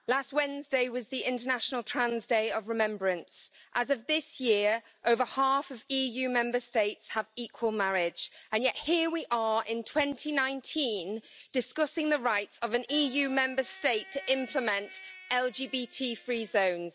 Madam President, last Wednesday was the International Trans Day of Remembrance. As of this year, over half of EU Member States have equal marriage and yet here we are in 2019 discussing the rights of an EU Member State to implement LGBTI free zones.